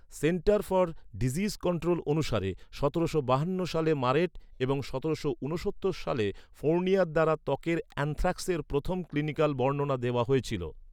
Centre for disease control অনুসারে সতেরোশো বাহান্ন সালে মারেট এবং সতেরোশো ঊনসত্তর সালে ফোর্নিয়ার দ্বারা ত্বকের অ্যানথ্রাক্সের প্রথম ক্লিনিকাল বর্ণনা দেওয়া হয়েছিল।